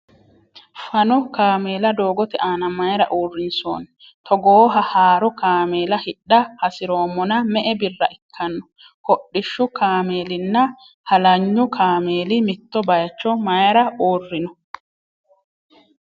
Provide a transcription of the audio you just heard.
Fano kameela doogote aana mayra uurrinsoonni ? Togooha haaro kameela hidha hasiroommona me''e birra ikkano ? Hodhishshu kaameellina halanyu kaameeli mitto bayicho mayra uurrinno ?